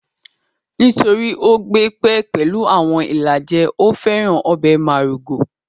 Nítorí ó gbé pẹ́ pẹ̀lú àwọn ìlàjẹ, ó féràn ọbẹ̀ márúgó